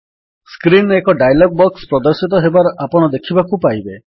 screen ରେ ଏକ dialog box ପ୍ରଦର୍ଶିତ ହେବାର ଆପଣ ଦେଖିବାକୁ ପାଇବେ